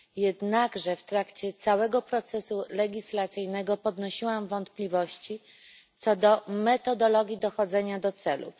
Jednakże w trakcie całego procesu legislacyjnego podnosiłam wątpliwości co do metodologii dochodzenia do celów.